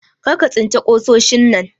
Karka tsince kusoshin nan!